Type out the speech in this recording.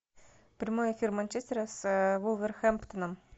прямой эфир манчестера с вулверхэмптоном